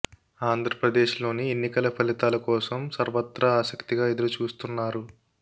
ఆంధ్రప్రదేశ్ లో ఎన్నికల ఫలితాల కోసం సర్వత్రా ఆశక్తిగా ఎదురు చూస్తున్నారు